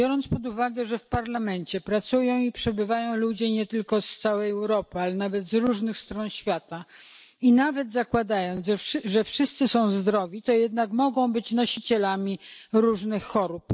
Biorąc pod uwagę, że w parlamencie pracują i przebywają ludzie nie tylko z całej Europy, ale nawet z różnych stron świata, i nawet zakładając, że wszyscy są zdrowi to jednak mogą być nosicielami różnych chorób.